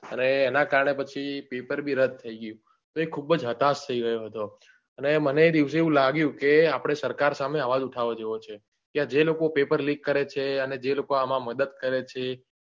અરે એના કારણે પછી પેપર બી રદ થઇ ગયું તો એ ખુબ જ હતાશ થઇ ગયો હતો અને મને એ દિવસે એવું લાગ્યું કે આપડે સરકાર સામે અવાજ ઉઠાવવા જેવો છે કે જે લોકો પેપર like કરે છે અને જે લોકો આમાં મદદ કરે છે